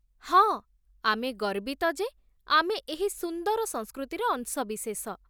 ହଁ, ଆମେ ଗର୍ବିତ ଯେ ଆମେ ଏହି ସୁନ୍ଦର ସଂସ୍କୃତିର ଅଂଶବିଶେଷ